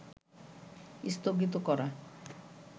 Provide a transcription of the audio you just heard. স্থগিত করা